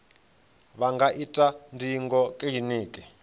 vha nga ita ndingo kiliniki